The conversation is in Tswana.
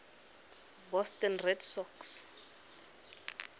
boston red sox